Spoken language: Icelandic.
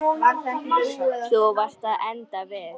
Þú varst að enda við.